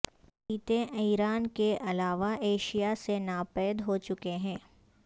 چیتے ایران کے علاوہ ایشیا سے ناپید ہو چکے ہیں